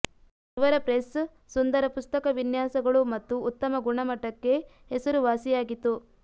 ಇವರ ಪ್ರೆಸ್ ಸುಂದರ ಪುಸ್ತಕ ವಿನ್ಯಾಸಗಳು ಮತ್ತು ಉತ್ತಮ ಗುಣಮಟ್ಟಕೆ ಹೆಸರುವಾಸಿಯಾಗಿತು